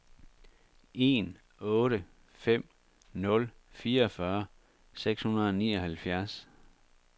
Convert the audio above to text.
en otte fem nul fireogfyrre seks hundrede og nioghalvfjerds